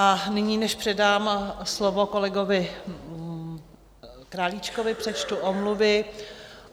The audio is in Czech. A nyní, než předám slovo kolegovi Králíčkovi, přečtu omluvy.